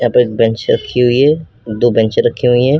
यहां पे एक बेंच रखी हुई है। दो बेंचे रखी हुई है।